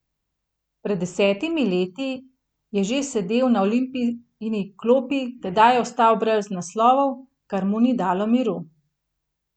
Pred desetimi leti je že sedel na Olimpijini klopi, tedaj ostal brez naslovov, kar mu ni dalo miru.